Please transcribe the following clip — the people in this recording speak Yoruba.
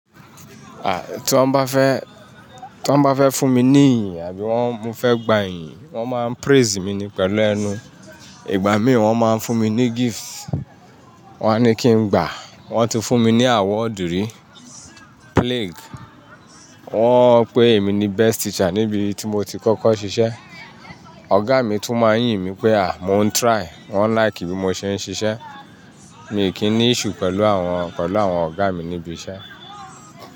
Tí wọ́n bá fẹ́, tí wọ́n bá fẹ́ fún mi ní ìyìn àbí wọ́n mo fẹ́ gba ìyìn, wọ́n máa ń praise mi ni pẹ̀lú ẹnu. Ìgbà mí ì wọ́n máa ń fún mi ní gift, wọ́n á ní kí n gbà. Wọ́n ti fún mi ní award rí, plaque. Wọ́n pe èmi ni best teacher níbi tí mo ti kọ́kọ́ ṣiṣẹ́. Ọ̀gá mi tún máa ń yìn mi pé à, mo ń try, wọ́n like bí mo ṣe ń ṣiṣẹ́. Mi kí ń ní issue pẹ̀lú àwọn, pẹ̀lú àwọn ọ̀gá mi níbi iṣẹ́.